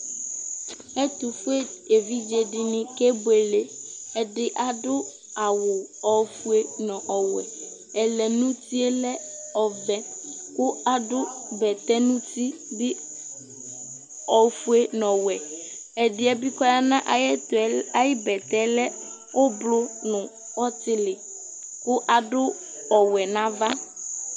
ɛto fue evidze di ni ke buele ɛdi adu awu ofue no ɔwɛ ɛlɛnuti yɛ lɛ ɔvɛ kò adu bɛtɛ no uti bi ofue n'ɔwɛ ɛdi yɛ bi k'ɔya n'ayi ɛto ayi bɛtɛ lɛ ublɔ no ɔtili kò adu ɔwɛ n'ava